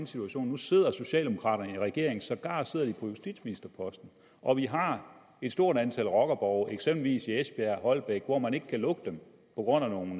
situation nu sidder socialdemokraterne i regering sågar sidder de på justitsministerposten og vi har et stort antal rockerborge eksempelvis i esbjerg holbæk hvor man ikke kan lukke dem på grund af nogle